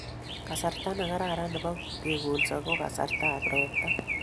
Kasarta ne karan nebo kekolso ko kasarta ab ropta